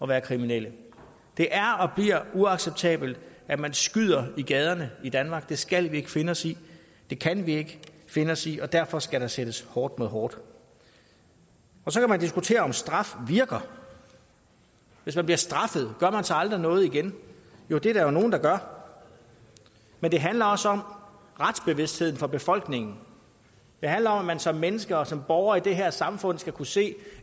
være kriminelle det er og bliver uacceptabelt at man skyder i gaderne i danmark det skal vi ikke finde os i det kan vi ikke finde os i og derfor skal der sættes hårdt mod hårdt så kan man diskutere om straf virker hvis man bliver straffet gør man så aldrig noget igen jo det er der jo nogen der gør men det handler også om retsbevidstheden for befolkningen det handler om at man som menneske og som borger i det her samfund skal kunne se